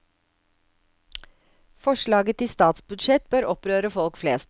Forslaget til statsbudsjett bør opprøre folk flest.